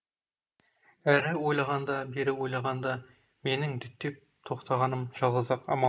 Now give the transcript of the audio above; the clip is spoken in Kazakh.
әрі ойлағанда бері ойлағанда менің діттеп тоқтағаным жалғыз ақ амал